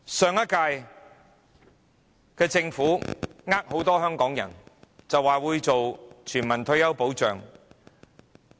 上屆政府欺騙很多香港人，說會推行全民退休保障。